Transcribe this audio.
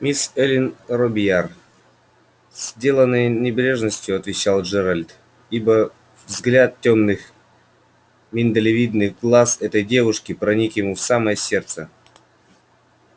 мисс эллин робийяр с деланной небрежностью отвечал джералд ибо взгляд тёмных миндалевидных глаз этой девушки проник ему в самое сердце